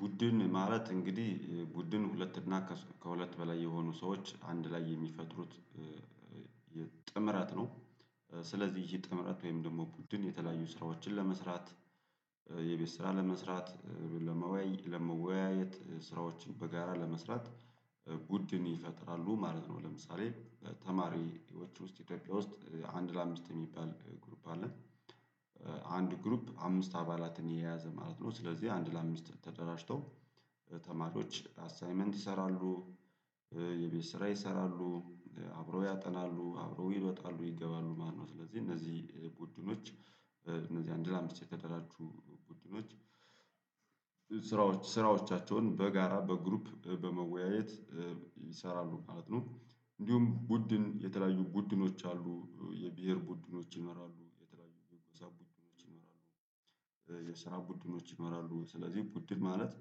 ቡድን ማለት እንግዲ ቡድን ሁለት እና ከሁለት በላይ የሆኑ ሰዎች አንድ ላይ የሚፈጥሩት የ ጥምረት ነው። ስለዚ ይህ ጥምረት ወይም ደሞ ቡድን የተለያዩ ስራዎችን ለመስራት የቤት ስራ ለመስራት ለመወያየት ስራዎችን በጋራ ለመስራት ቡድን ይፈጥራሉ ማለት ነው። ለምሳሌ ተማሪዎች ውስጥ ኢትዮጵያ ውስጥ አንድ ለአምስት የሚባል ግሩፕ አለ። አንድ ግሩፕ አምስት አባላትን የያዘ ማለት ነው። ስለዚ አንድ ለአምስት ተደራጅተው ተማሪዎች አሳይመንት ይሰራሉ። የቤት ስራ ይሰራሉ አብረው ያጠናሉ አብረው ይወጣሉ ይገባሉ ማለት ነው። ስለዚ እነዚ ቡድኖች እነዚ አንድ ለአምስት የተደራጁ ቡድኖች። ስራዎች ስራዎቻቸውን በጋራ በግሩፕ በመወያየት ይሰራሉ ማለት ነው። እንዲውም ቡድን የተለያዩ ቡድኖች አሉ የብሄር ቡድኖች ይኖራሉ የተለያዩ የጎሳ ቡድኖች ይኖራሉ። የስራ ቡድኖች ይኖራሉ ስለዚ ቡድን ማለት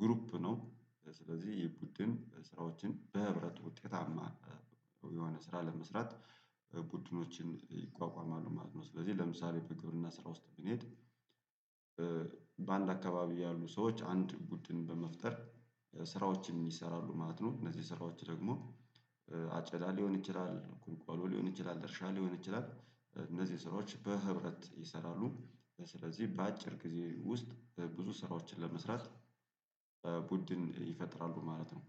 ግሩፕ ነው። ስለዚ የቡድን ስራዎችን በህብረት ውጤታማ የሆነ ስራ ለመስራት ቡድኖችን ይቋቋማሉ ማለት ነው። ስለዚ ለምሳሌ በግብርና ስራ ውስጥ ብንሄድ። በአንድ አካባቢ ያሉ ሰዎች አንድ ቡድን በመፍጠር ስራዎችን ይሰራሉ ማለት ነው። እነዚ ስራዎች ደግሞ አጨዳ ሊሆን ይችላል ቁልቋሎ ሊሆን ይችላል እርሻ ሊሆን ይችላል እነዚን ስራዎች በህብረት ይሰራሉ። ስለዚ በአጭር ጊዜ ውስጥ ብዙ ስራዎችን ለመስራት ቡድን ይፈጥራሉ ማለት ነው።